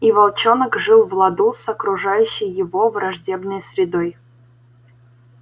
и волчонок жил в ладу с окружающей его враждебной средой